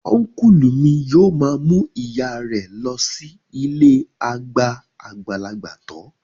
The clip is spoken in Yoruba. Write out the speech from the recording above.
Ọ́nkùlù mi yóò ma mú ìyáa rẹ lọ sí ilée àgbà àgbàlagbà tọ́